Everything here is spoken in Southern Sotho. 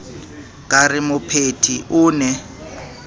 ka re mopheti o ne